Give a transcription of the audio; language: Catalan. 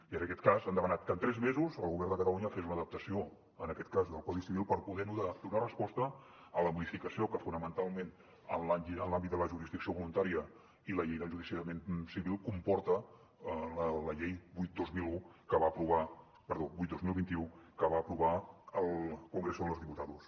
i en aquest cas han demanat que en tres mesos el govern de catalunya fes una adaptació en aquest cas del codi civil per poder donar resposta a la modificació que fonamentalment en l’àmbit de la jurisdicció voluntària i la llei d’enjudiciament civil comporta la llei vuit dos mil vint u que va aprovar el congreso de los diputados